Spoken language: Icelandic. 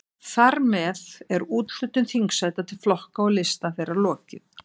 Þar með er úthlutun þingsæta til flokka og lista þeirra lokið.